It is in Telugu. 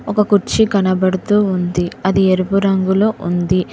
ఒక కుర్చీ కనబడుతూ ఉంది అది ఎరుపు రంగులో ఉంది.